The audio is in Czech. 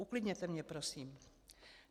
Uklidněte mě prosím.